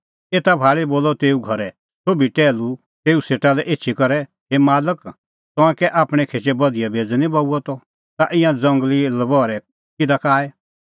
एता भाल़ी बोलअ तेऊए घरे सोभी टैहलू तेऊ सेटा लै एछी करै हे मालक तंऐं कै आपणैं खेचै बधिया बेज़अ निं बऊअ त तै ईंयां ज़ंगली लबहरै किधा का आऐ